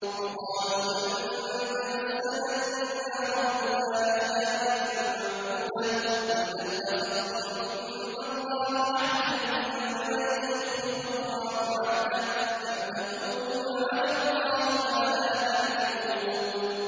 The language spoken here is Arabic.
وَقَالُوا لَن تَمَسَّنَا النَّارُ إِلَّا أَيَّامًا مَّعْدُودَةً ۚ قُلْ أَتَّخَذْتُمْ عِندَ اللَّهِ عَهْدًا فَلَن يُخْلِفَ اللَّهُ عَهْدَهُ ۖ أَمْ تَقُولُونَ عَلَى اللَّهِ مَا لَا تَعْلَمُونَ